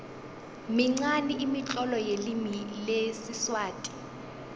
minqani imitlolo yelimi lesiswati